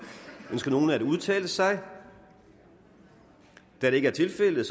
ønsker nogen at udtale sig da det ikke er tilfældet